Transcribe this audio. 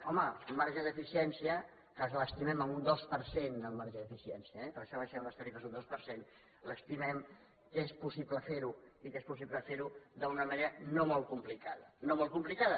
home un marge d’eficiència que l’estimem en un dos per cent el marge d’eficiència eh per això abaixem les tarifes un dos per cent l’estimem que és possible fer ho i que és possible fer ho d’una manera no molt complicada no molt complicada